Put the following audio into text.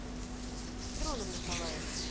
дроном николаевым